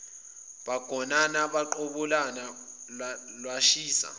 bagonana baqabulana lwashisa